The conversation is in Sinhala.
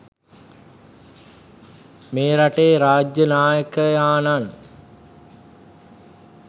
මේ රටේ රාජ්‍ය නායකයාණන්